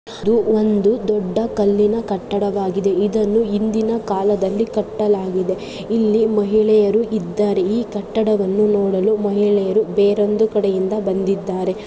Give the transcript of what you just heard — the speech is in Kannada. ಇದು ಒಂದು ದೊಡ್ಡ ಕಲ್ಲಿನ ಕಟ್ಟಡವಾಗಿದೆ. ಇದನ್ನು ಹಿಂದಿನ ಕಾಲದಲ್ಲಿ ಕಟ್ಟಲಾಗಿದೆ. ಇಲ್ಲಿ ಮಹಿಳೆಯರು ಇದ್ದಾರೆ ಈ ಕಟ್ಟಡವನ್ನು ನೋಡಲು ಮಹಿಳೆಯರು ಬೇರೊಂದು ಕಡೆಯಿಂದ ಬಂದಿದ್ದಾರೆ.